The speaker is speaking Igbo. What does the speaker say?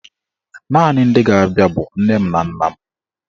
Naanị ndị ga-abịa bụ nne m na nna m.